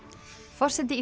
forseti